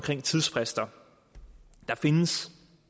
tidsfrister der findes